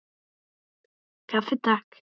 Kaffi, Takk!